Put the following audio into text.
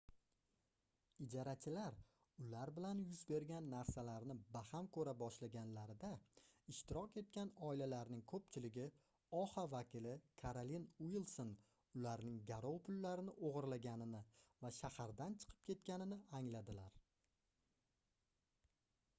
ijarachilar ular bilan yuz bergan narsalarni baham koʻra boshlaganlarida ishtirok etgan oilalarning koʻpchiligi oha vakili karolin uilson ularning garov pullarini ogʻirlaganini va shahardan chiqib ketganini angladilar